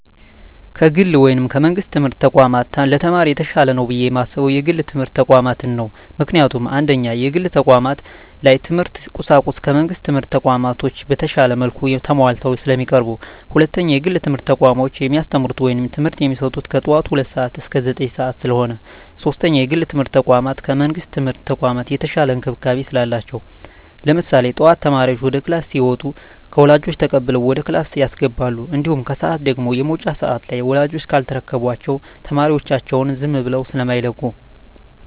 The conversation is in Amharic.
ከግል ወይም ከመንግስት የትምህርት ተቋማት ለተማሪ የተሻለ ነው ብየ የማስበው የግል የትምህርት ተቋማትን ነው። ምክንያቱም፦ 1ኛ, የግል ተቋማት ላይ የትምህርት ቁሳቁሱ ከመንግስት ትምህርት ተቋማቶች በተሻለ መልኩ ተማሟልተው ስለሚቀርቡ። 2ኛ, የግል የትምህርት ተቋሞች የሚያስተምሩት ወይም ትምህርት የሚሰጡት ከጠዋቱ ሁለት ሰዓት እስከ ዘጠኝ ሰዓት ስለሆነ። 3ኛ, የግል የትምርት ተቋም ከመንግስት የትምህርት ተቋም የተሻለ እንክብካቤ ስላላቸው። ለምሳሌ ጠዋት ተማሪዎች ወደ ክላስ ሲመጡ ከወላጆች ተቀብለው ወደ ክላስ ያስገባሉ። እንዲሁም ከሰዓት ደግሞ የመውጫ ሰዓት ላይ ወላጅ ካልተረከባቸው ተማሪዎቻቸውን ዝም ብለው ስማይለቁ።